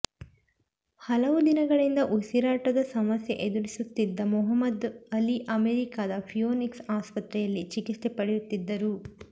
ಹಲವು ದಿನಗಳಿಂದ ಉಸಿರಾಟದ ಸಮಸ್ಯೆ ಎದುರಿಸುತ್ತಿದ್ದ ಮೊಹಮ್ಮದ್ ಅಲಿ ಅಮೆರಿಕದ ಫಿಯೋನಿಕ್ಸ್ ಆಸ್ಪತ್ರೆಯಲ್ಲಿ ಚಿಕಿತ್ಸೆ ಪಡೆಯುತ್ತಿದ್ದರು